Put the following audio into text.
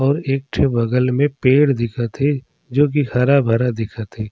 और एक ठी बगल मे पेड़ दिखत हे जो की हरा-भरा दिखत हे।